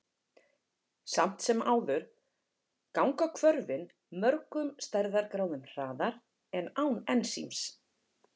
Samt sem áður ganga hvörfin mörgum stærðargráðum hraðar en án ensíms.